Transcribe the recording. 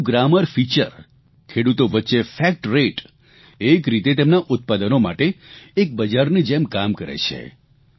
એપનું grammar feature ખેડુતો વચ્ચે ફેકટ રેટ એક રીતે તેમના ઉત્પાદનો માટે એક બજારની જેમ કામ કરે છે